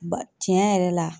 Ba tiɲɛ yɛrɛ la